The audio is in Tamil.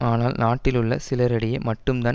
ஆனால் நாட்டில் உள்ள சிலரிடையே மட்டும் தான்